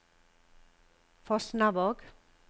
Fosnavåg